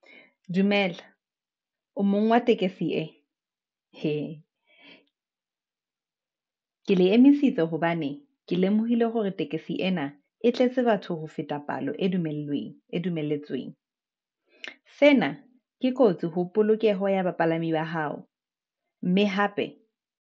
Dumela, o mong wa tekesi ee? He, ke le emisitse hobane ke lemohile hore tekesi ena e tletse batho ho feta palo e dumelletsweng. Sena ke kotsi ho polokeho ya bapalami ba hao mme hape.